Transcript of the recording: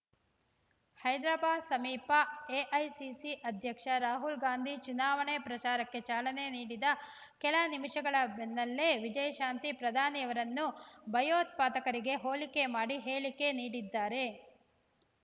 ಹೈದ್ರಾಬಾದ್ ಸಮೀಪ ಎಐಸಿಸಿ ಅಧ್ಯಕ್ಷ ರಾಹುಲ್‌ಗಾಂಧಿ ಚುನಾವಣಾ ಪ್ರಚಾರಕ್ಕೆ ಚಾಲನೆ ನೀಡಿದ ಕೆಲ ನಿಮಿಷಗಳ ಬೆನ್ನಲ್ಲೆ ವಿಜಯಶಾಂತಿ ಪ್ರಧಾನಿಯವರನ್ನು ಭಯೋತ್ಪಾದಕರಿಗೆ ಹೋಲಿಕೆ ಮಾಡಿ ಹೇಳಿಕೆ ನೀಡಿದ್ದಾರೆ